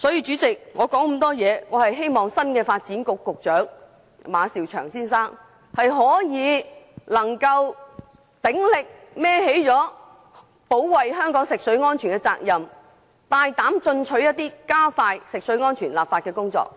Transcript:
主席，我說了這麼多，無非是希望新任發展局局長馬紹祥先生能鼎力負起保衞香港食水安全的責任，更加大膽進取地加快進行食水安全的立法工作。